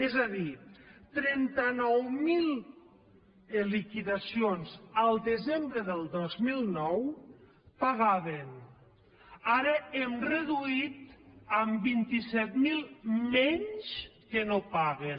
és a dir trenta nou mil liquidacions al desembre del dos mil nou pagaven ara hem reduït en vint set mil menys que no paguen